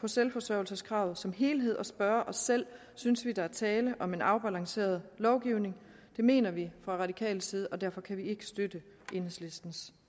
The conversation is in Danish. selvforsørgelseskravet som helhed og spørge os selv synes vi der er tale om en afbalanceret lovgivning det mener vi fra radikal side og derfor kan vi ikke støtte enhedslistens